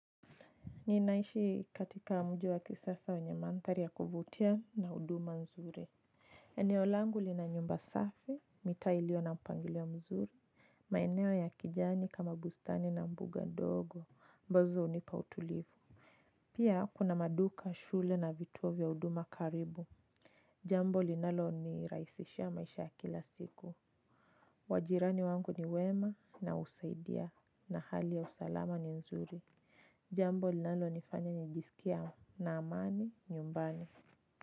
Ninaishi katika mji wa kisasa wenye mandhari ya kuvutia na huduma nzuri. Eneo langu lina nyumba safi, mitaa iliyo na mpangilio mzuri, maeneo ya kijani kama bustani na mbuga ndogo, ambazo hunipa utulivu. Pia kuna maduka, shule na vituo vya huduma karibu. Jambo linalonirahisishia maisha ya kila siku majirani wangu ni wema na husaidia na hali ya usalama ni nzuri. Jambo linalonifanya nijisikie na amani nyumbani.